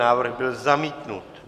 Návrh byl zamítnut.